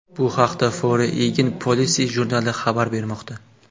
Bu haqda Foreign Policy jurnali xabar bermoqda .